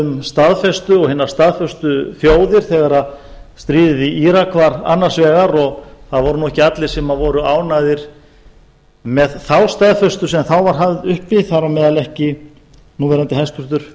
um staðfestu og hinar staðföstu þjóðir í tengslum við íraksstríðið ekki voru allir ánægðir með staðfestuna sem þá var höfð uppi þar á meðal núverandi